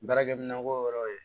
Baarakɛminɛn ko yɔrɔw ye